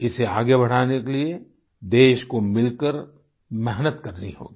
इसे आगे बढ़ाने के लिए देश को मिलकर मेहनत करनी होगी